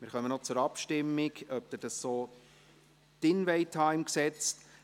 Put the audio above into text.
Wir kommen noch zur Abstimmung, ob Sie dies so im Gesetz verankern möchten.